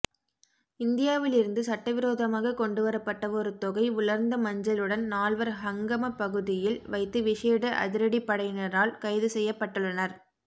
இந்தியாவிலிருந்து சட்டவிரோதமாக கொண்டுவரப்பட்ட ஒரு தொகை உலர்ந்த மஞ்சளுடன் நால்வர் ஹங்கம பகுதியில் வைத்து விசேட அதிரடிப் படையினரால் கைதுசெய்யப்பட்டுள்ளனர்